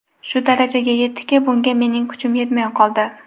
Shu darajaga yetdiki, bunga mening kuchim yetmay qoldi.